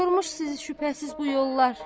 Yormuş sizi şübhəsiz bu yollar.